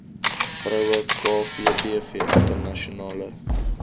vroue kvdv internasionale